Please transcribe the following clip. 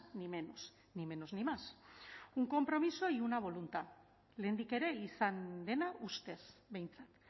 ni menos ni menos ni más un compromiso y una voluntad lehendik ere izan dena ustez behintzat